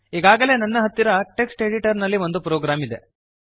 ಈಗಾಗಲೇ ನನ್ನ ಹತ್ತಿರ ಟೆಕ್ಸ್ಟ್ ಎಡಿಟರ್ ನಲ್ಲಿ ಒಂದು ಪ್ರೋಗ್ರಾಮ್ ಇದೆ